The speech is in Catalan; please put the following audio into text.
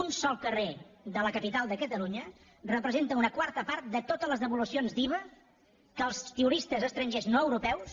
un sol carrer de la capital de catalunya representa una quarta part de totes les devolucions d’iva que els turistes estrangers no europeus